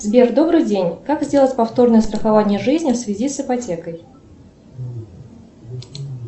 сбер добрый день как сделать повторное страхование жизни в связи с ипотекой